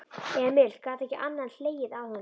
Emil gat ekki annað en hlegið að honum.